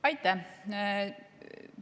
Aitäh!